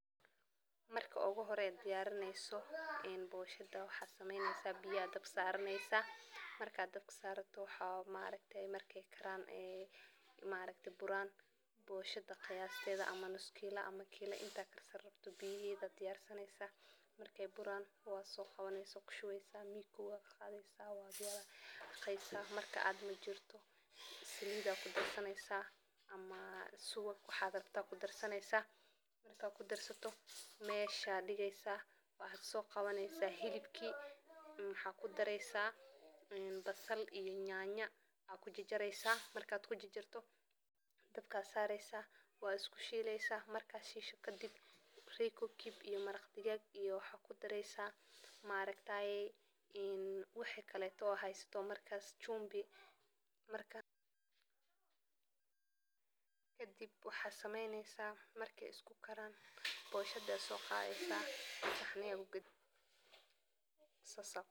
Marka ugu hore diyarineyso een boshaada waxa sameyneysa biya dabka saraneysa marka dabka sarato waxa ma aargte marke karaan ee ma aargte buraan boshaada qiyaasteda ama nus kiilo ama kiilo intaa karsani rabti biyaheda diyarsaneysan marke buran waso qawaneysa wa kushuweysa mikowa aa qadaneysa waad walaqeysa marka aad majirto salida kudarsaneysa ama suwaag waxa rabta kudarsaneysa marka kudarsato mesha diigeysa waxa so qawaneysa hilibkii waxa kudareysa basal iyo yanyo aad ku jarjareysa marka ku jarjarto dabka sareysa waad isku shileysa marka iskushisho kadib reko kiyub iyo maraqdiggag iyo waxad kudaareysa maargtaye een waxa kaleto haysato shubin marka kadib waxa sameyneysa marke isku kaaran boshaada so qaadi saxniya kugiidini saas.